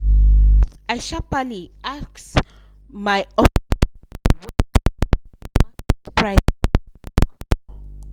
i sharparly ask m